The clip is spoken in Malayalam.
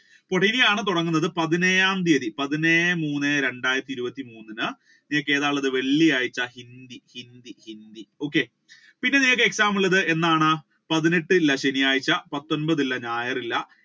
അപ്പോൾ ഇങ്ങയാണ് തൊടങ്ങുന്നത് പതിനേഴാം തിയതി പതിനേഴേ മൂന്നേ രണ്ടായിരത്തി ഇരുപത്തി മൂന്ന് നിങ്ങൾക്ക് ഏതാണ് ഉള്ളത് വെള്ളിയാഴ്ച ഹിന്ദി ഹിന്ദി ഹിന്ദി okay പിന്നെ നിങ്ങളക്ക് exam ഉള്ളത് എന്നാണ് പതിനെട്ട് അല്ലെ ശനിയാഴ്ച പത്തൊൻപത് ഇല്ല ഞായർ ഇല്ല